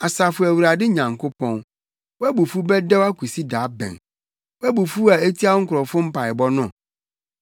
Asafo Awurade Nyankopɔn, wʼabufuw bɛdɛw akosi da bɛn, wʼabufuw a etia wo nkurɔfo mpaebɔ no?